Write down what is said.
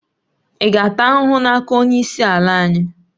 Ị ga-ata ahụhụ n'aka onye isi ala anyị